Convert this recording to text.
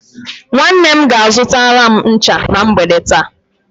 Nwanne m ga-azụtara m ncha na mgbede taa.